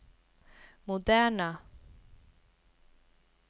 moderna